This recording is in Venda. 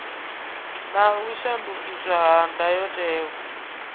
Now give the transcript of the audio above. na u shandukiswa ha ndayotewa